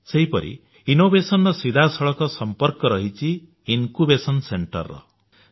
ସେହିପରି ଉଦ୍ଭାବନର ସିଧାସଳଖ ସମ୍ପର୍କ ରହିଛି ଇନକ୍ୟୁବେସନ ସେଣ୍ଟରେ ବା ଜ୍ଞାନାଙ୍କୁର କେନ୍ଦ୍ର ସହିତ